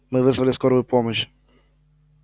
мы вызвали скорую помощь